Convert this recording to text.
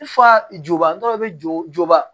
Fa joban tɔ bɛ jɔ